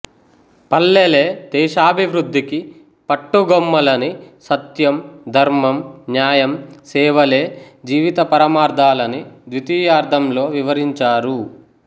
పల్లెలే దేశాభివృద్ధికి పట్టుగొమ్మలని సత్యం ధర్మం న్యాయం సేవలే జీవిత పరమార్థాలని ద్వితీయార్దం లో వివరించారు